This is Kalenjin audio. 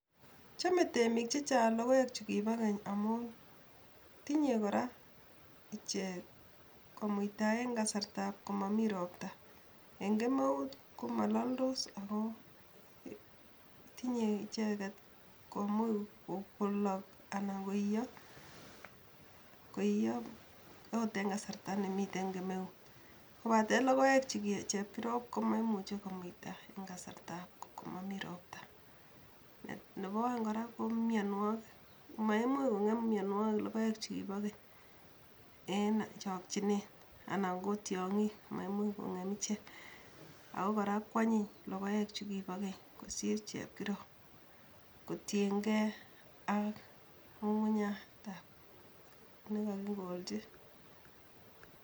Chomei temik chechang logoek chekipo keny amun tinyei kora ichek komuita eng kasartab komami ropta, eng kemeut komalaldos amun tinyei icheket komuch kolook anan koiiyo akot eng kasarta nemitei kemeuut, kobate logoek che kiprop komaimuchi komuita eng kasartab komami ropta. Nebo aeng kora ko mianwokik, maimuch kong'em mianwokik logoek che kipo keny eng chokchinet anan ko tiongik maimuch kong'em ichek. Ako kora ko anyiny logoek chekipo keny kosir chepkirop, kotiengei ak ng'ung'unyatab nekakikolchin.